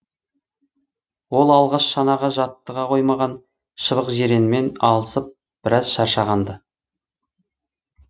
ол алғаш шанаға жаттыға қоймаған шыбықжиренмен алысып біраз шаршаған ды